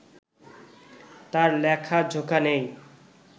তার লেখাজোখা নেই